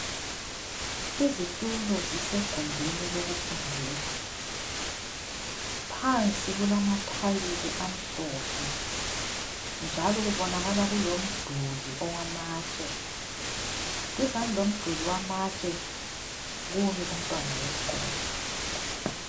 Izitulo zisegumbini lokufundela. Phansi kulamathayili amhlophe njalo kubonakala kulomduli owamatshe. Duzane lomduli owamatshe kumi umntwana wesikolo.